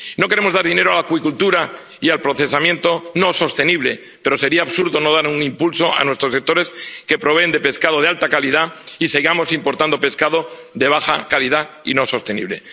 No queremos dar dinero a la acuicultura y al procesamiento no sostenible, pero sería absurdo no dar un impulso a nuestros sectores que proveen de pescado de alta calidad y seguir importando pescado de baja calidad y no sostenible.